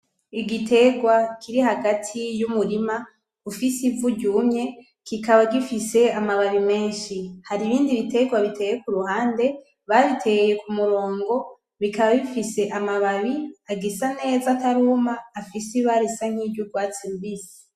Igitegwa kiri hagati y'umurima ufise ivu ryumye kikaba gifise amababi menshi , haribindi bitegwa bitewe kuruhande , babiteye kumurongo bikaba bifise amababi agisa neza ataruma afise ibara risa nkiry'urwatsi rubisi.